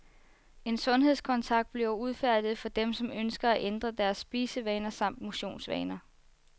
En sundhedskontrakt bliver udfærdiget for dem, som ønsker at ændre deres spisevaner samt motionsvaner.